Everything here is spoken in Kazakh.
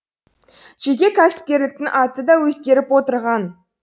жеке кәсіпкерліктің аты да өзгеріп отырған